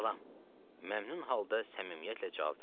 Salam, məmnun halda səmimiyyətlə cavab verdim.